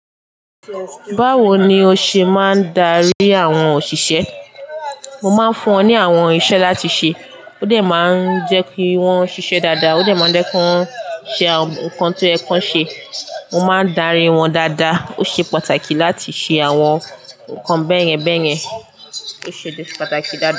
Báwo ni o ṣe máa ń darí àwọn òṣìṣẹ́? Mo máa ń fún wọn ní àwọn iṣẹ́ láti ṣe. Ó dẹ̀ máa ń jẹ́ kí wọ́n ṣiṣẹ́ dáadáa. Ó dẹ̀ máa ń jẹ́ kí wọ́n ṣe àwọn nnkan tó yẹ kán ṣe. Mo máa ń darí wọn dáadáa. Ó ṣe pàtàkì láti ṣe àwọn nǹkan bẹ́ẹ̀yẹn bẹ́ẹ̀yẹn. Ó ṣe pàtàkì dáadáa.